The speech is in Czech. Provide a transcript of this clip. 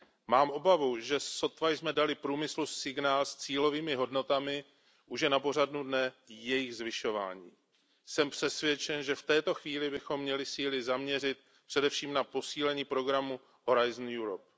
Mám obavu, že sotva jsme dali průmyslu signál s cílovými hodnotami, už je na pořadu dne jejich zvyšování. Jsem přesvědčen, že v této chvíli bychom měli síly zaměřit především na posílení programu Horizon Europe